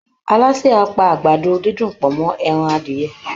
Alásè á pa àgbàdo-dídùn pọ̀ mọ́ ẹran adìyẹ